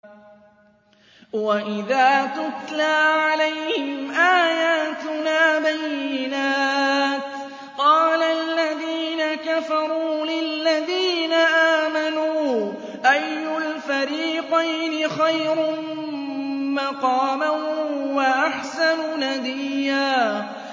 وَإِذَا تُتْلَىٰ عَلَيْهِمْ آيَاتُنَا بَيِّنَاتٍ قَالَ الَّذِينَ كَفَرُوا لِلَّذِينَ آمَنُوا أَيُّ الْفَرِيقَيْنِ خَيْرٌ مَّقَامًا وَأَحْسَنُ نَدِيًّا